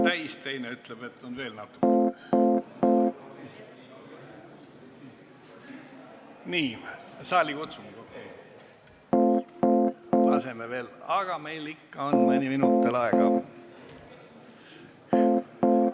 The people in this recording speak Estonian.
Laseme veel kella, aga meil on ikka mõni minut veel aega.